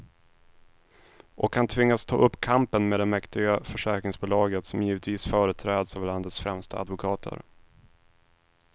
Och han tvingas ta upp kampen med det mäktiga försäkringsbolaget, som givetvis företräds av landets främsta advokater.